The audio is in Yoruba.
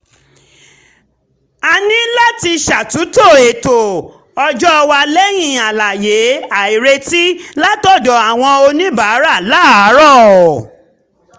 a ní láti ṣàtúntò ètò ọjọ́ wa lẹ́yìn àlàyé àìretí látọ̀dọ̀ àwọn oníbàárà láàárọ̀